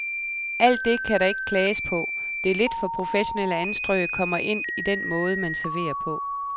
Alt det kan der ikke klages på, det lidt for professionelle anstrøg kommer ind i den måde, man serverer på.